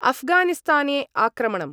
अफगानिस्ताने आक्रमणम्